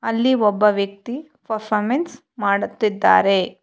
ಅಲ್ಲಿ ಒಬ್ಬ ವ್ಯಕ್ತಿ ಪರ್ಫಾರ್ಮೆನ್ಸ್ ಮಾಡುತ್ತಿದ್ದಾರೆ.